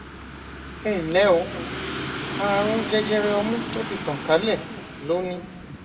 ẹnlẹ o ààrùn jẹjẹrẹ ọmú tó ti tàn kálẹ ló ní